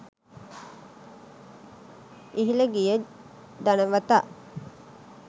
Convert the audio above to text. ඉහිල ගිය ධනවතා